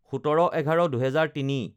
১৭/১১/২০০৩